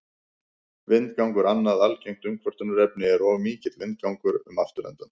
Vindgangur Annað algengt umkvörtunarefni er of mikill vindgangur um afturendann.